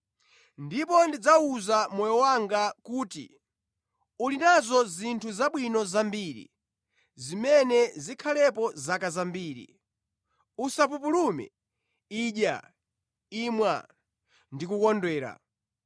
Ndipo ndidzawuza moyo wanga kuti, ‘Uli nazo zinthu zabwino zambiri zimene zikhalepo zaka zambiri, usapupulume; idya, imwa ndi kukondwera.’ ”